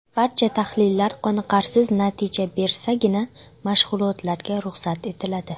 Barcha tahlillar qoniqarsiz natija bersagina mashg‘ulotlarga ruxsat etiladi.